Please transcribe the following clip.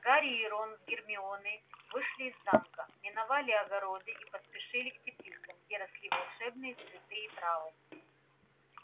гарри и рон с гермионой вышли из замка миновали огороды и поспешили к теплицам где росли волшебные цветы и травы